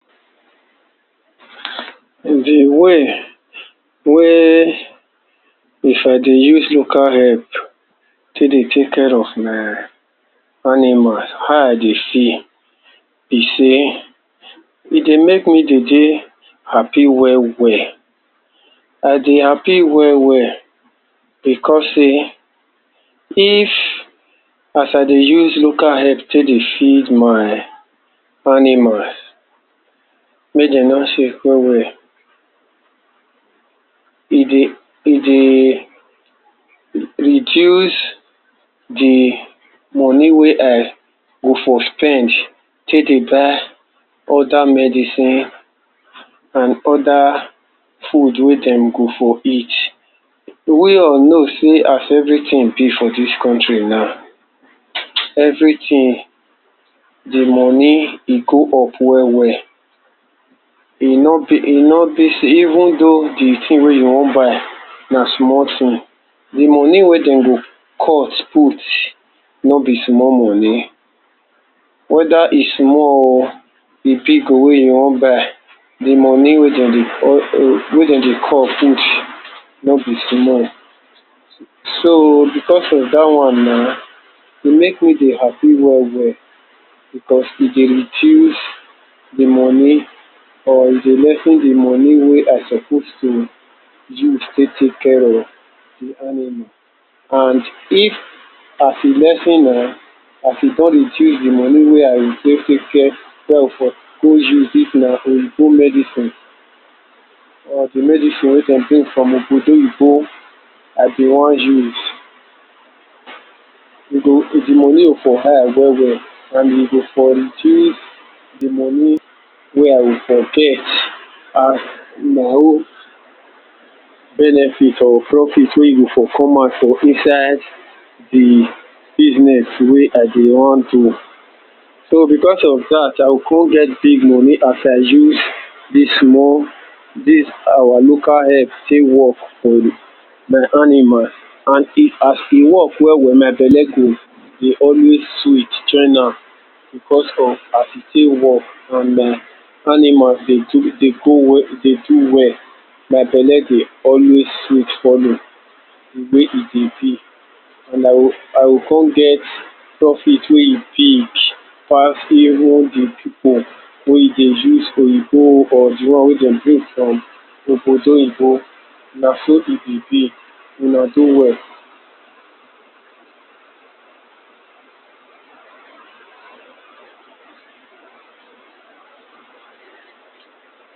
Di way wey if I dey use local herb take dey take care of my animals, how I dey feel be sey, I dey make me dey dey happy well well, I dey happy well well because sey if, as I dey use local herb take dey feed my animals, make dem nor sick well well, e dey e dey reduce di money wey I go for spend take dey buy oda medicine, and oda food wey dem go for eat. We all know sey as everything be for dis country now, wey all know sey everything di money go up well well, e no be e nor be sey even though di thing wey you wan buy na small thing, di money wey dem go cut put, no be small money, whether e small oh, e big oh wey you wan buy, di money wey dem dey cut wey dem dey cut put no be small, so because of dat one na, e make me dey happy well well, because e dey reduce di money or e dey lessen di money wey I suppose dey use take take care of di animal, and if a s e lessen am, as e don reduce di money wey go I go take take care, wey I for go use if na oyibo medicine or di medicine wey dem bring from obodo oyibo, I been wan use, e go di money go for high well well, and e go for reduce di money wey I for get as my own benefit or profit wey for come out for inside di business so, wey I been wan do, so because of dat I go come get big money as I use dis small, dis our local herb take work for di my animal, and as e work well well my belle go dey always sweet join am, because of as e take work and my animal dey go well, dey do well, my belle go always sweet follow, di way e dey be, and I go, I go come get profit wey e big pass even di people wey dey use oyibo, or di one wey dem bring from obodo oyibo, na so e be, una do well.